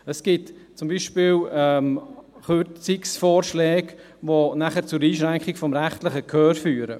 Es gibt zum Beispiel Kürzungsvorschläge, welche zur Einschränkung des rechtlichen Gehörs führen.